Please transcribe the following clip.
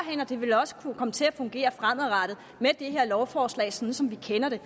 det vil også kunne komme til at fungere fremadrettet med det her lovforslag sådan som vi kender det